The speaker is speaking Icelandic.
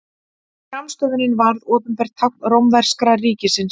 Skammstöfunin varð opinbert tákn rómverska ríkisins.